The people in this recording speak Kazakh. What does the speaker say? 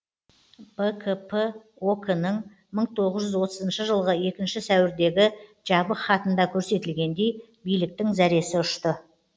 бкп ок нің мың тоғыз жүз отызыншы жылғы екінші сәуірдегі жабық хатында көрсетілгендей биліктің зәресі ұшты